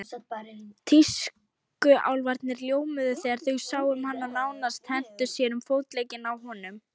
Tískuálfarnir ljómuðu þegar þeir sáum hann og nánast hentu sér um fótleggina á honum.